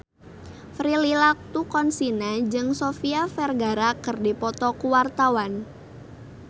Prilly Latuconsina jeung Sofia Vergara keur dipoto ku wartawan